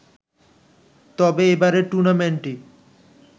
তবে এবারের টুর্নামেন্টটি